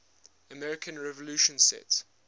american revolution set